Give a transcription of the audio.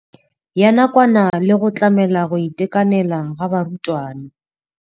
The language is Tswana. Ya nakwana le go tlamela go itekanela ga barutwana.